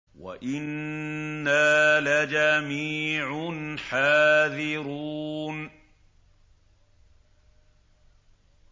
وَإِنَّا لَجَمِيعٌ حَاذِرُونَ